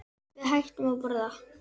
Við hættum að borða.